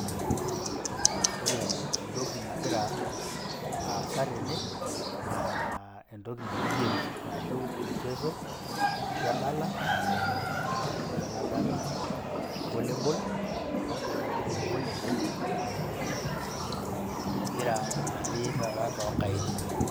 Ore entoki nagira aasa tene, naa entoki naji games arashu michezo aashu endala, naa keji ena dala volleyball. Ore tanajo volleyball naa empira naari taata too nkaik.